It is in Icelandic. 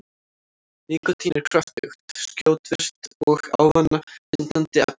Nikótín er kröftugt, skjótvirkt og ávanabindandi efni.